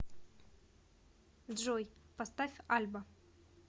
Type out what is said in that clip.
джой поставь альба